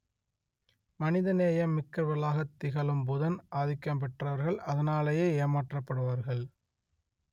மனித நேயம் மிக்கவர்களாகத் திகழும் புதன் ஆதிக்கம் பெற்றவர்கள் அதனாலேயே ஏமாற்றப்படுவார்கள்